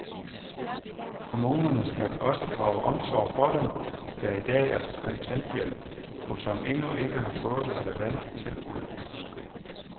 Kommunerne skal også drage omsorg for dem, der i dag er på kontanthjælp, og som endnu ikke har fået relevante tilbud.